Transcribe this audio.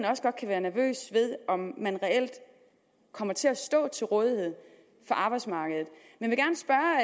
også godt kan være nervøs ved om man reelt kommer til at stå til rådighed for arbejdsmarkedet men